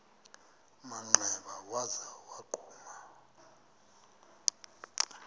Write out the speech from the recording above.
manxeba waza wagquma